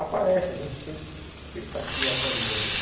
Aparece, a gente sempre sempre está se atualizando, né?